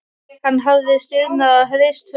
Hann hafði stirðnað og hrist höfuðið.